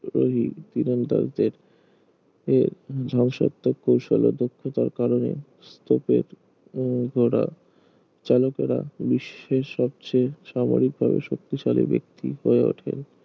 রোহি তীরন্দাজ দের এ ধ্বংসাত্মক কৌশল ও দক্ষতার কারণে স্তপের উম ঘোড়া চালকেরা বিশ্বের সবচেয়ে সামরিক ভাবে শক্তিশালী ব্যাক্তি হয়ে ওঠে